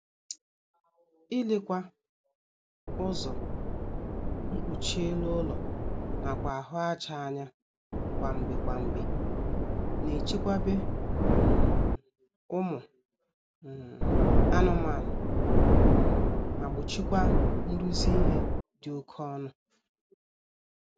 Ilekwa ụzọ, mkpuchi elu ụlọ nakwa ahụ aja anya kwa mgbe kwa mgbe na-echekwaba um ụmụ um anụmaanụ um ma gbochikwaa nrụzi ihe dị oké ọnụ